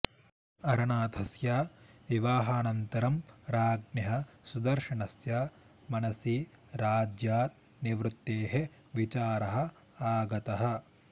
अरनाथस्य विवाहानन्तरं राज्ञः सुदर्शनस्य मनसि राज्यात् निवृत्तेः विचारः आगतः